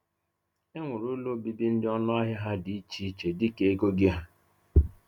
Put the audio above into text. E nwere ụlọ obibi ndị ọnụ ahịa ha dị iche iche dịka ego gị ha.